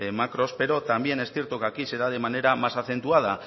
macros pero también es cierto que aquí se da de manera más acentuada